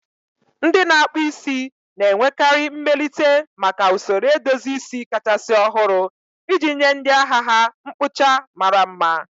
Ndị na-akpụ isi na-enwekarị mmelite maka usoro edozi isi kachasị ọhụrụ iji nye ndị ahịa ha mkpụcha mara mma.